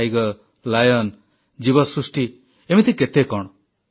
ବାଘସିଂହ ଜୀବ ସୃଷ୍ଟି ଏମିତି କେତେ କଣ